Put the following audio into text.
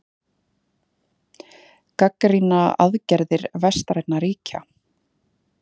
Gagnrýna aðgerðir vestrænna ríkja